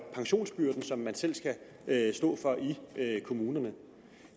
pensionsbyrden som man selv skal stå for i kommunerne